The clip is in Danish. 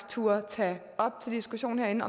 turde at tage op til diskussion herinde